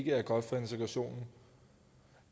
er godt for integrationen